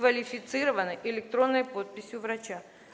квалифицированной электронной подписью врача